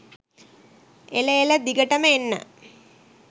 එල එල දිගටම එන්න